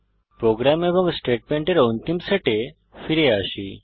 programme এবং স্টেটমেন্টের অন্তিম সেটে ফিরে আসি